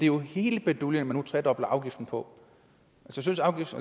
jo hele baduljen man nu tredobler afgiften på